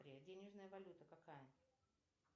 денежная валюта какая